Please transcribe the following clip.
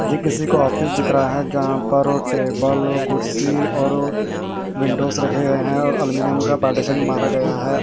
ये किसी का ऑफिस दिख रहा है यहां पर वो टेबल वो कुर्सी और वो विंडोज रखे गए हैं और एल्यूमीनियम का पार्टीशन मारा गया है।